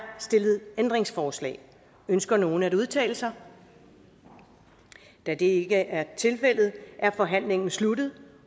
stillet ændringsforslag ønsker nogen at udtale sig da det ikke er tilfældet er forhandlingen sluttet